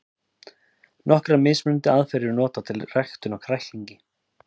Nokkrar mismunandi aðferðir eru notaðar við ræktun á kræklingi.